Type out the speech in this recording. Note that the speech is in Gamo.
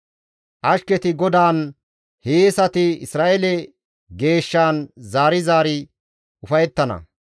Ashketi GODAAN, hiyeesati Isra7eele Geeshshan zaari zaari ufayettana.